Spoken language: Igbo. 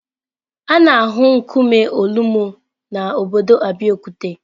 A na-ahụ nkume Olumo na obodo Abeokuta.